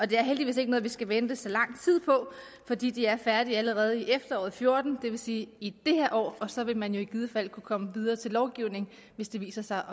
det er heldigvis ikke noget vi skal vente så lang tid på for de er færdige allerede i efteråret fjorten det vil sige i det her år og så vil man i givet fald kunne komme videre til lovgivning hvis det viser sig